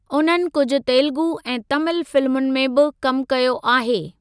उन्हनि कुझु तेलुगु ऐं तमिल फिल्मुनि में बि कमु कयो आहे।